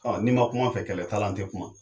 Ɔ n'i ma kum'an fɛ kɛlɛta t'ala an ti kuma